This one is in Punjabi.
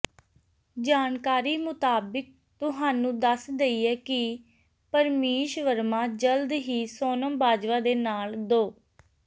ਜਾਣਕਾਰੀ ਮੁਤਾਬਿਕ ਤੁਹਾਨੂੰ ਦਸ ਦੇਈਏ ਕਿ ਪਰਮੀਸ਼ ਵਰਮਾ ਜਲਦ ਹੀ ਸੋਨਮ ਬਾਜਵਾ ਦੇ ਨਾਲ ਦੋ